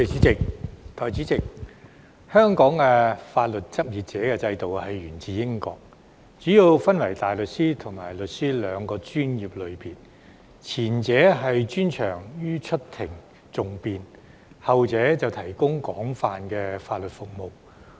代理主席，香港法律執業者制度源自英國，主要分為大律師和律師兩個專業類別，前者專長於出庭訟辯，後者則提供廣泛的法律服務。